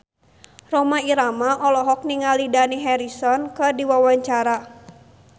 Rhoma Irama olohok ningali Dani Harrison keur diwawancara